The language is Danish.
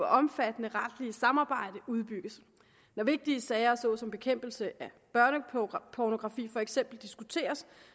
omfattende retlige samarbejde udbygges når vigtige sager såsom bekæmpelse af børnepornografi for eksempel diskuteres